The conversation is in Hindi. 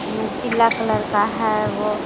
ने पीला कलर का है वो--